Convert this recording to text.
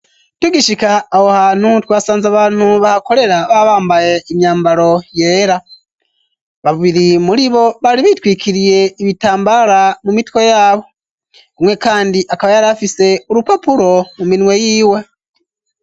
Tugishika aho hantu twasanze abantu bahakorera babambaye imyambaro yera babiri muri bo bari bitwikiriye ibitambara mu mitwe yabo, umwe kandi akaba yarafise urupapuro mu minwe yiwe.